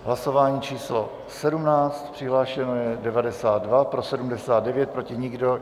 Hlasování číslo 17, přihlášeno je 92, pro 79, proti nikdo.